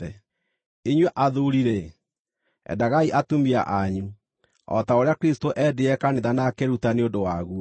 Inyuĩ athuuri-rĩ, endagai atumia anyu, o ta ũrĩa Kristũ eendire kanitha na akĩĩruta nĩ ũndũ waguo